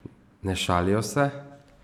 Ne šalijo se!